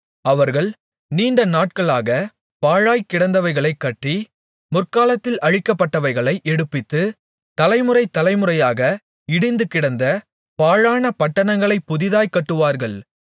அவர்கள் நீண்டநாட்களாக பாழாய்க் கிடந்தவைகளைக் கட்டி முற்காலத்தில் அழிக்கப்பட்டவைகளை எடுப்பித்து தலைமுறை தலைமுறையாக இடிந்துகிடந்த பாழான பட்டணங்களைப் புதிதாய்க் கட்டுவார்கள்